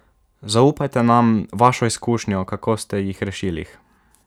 Zaupajte nam vašo izkušnjo, kako ste jih rešili?